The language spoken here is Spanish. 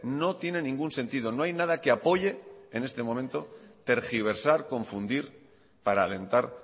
no tiene ningún sentido no hay nada que apoye en este momento tergiversar confundir para alentar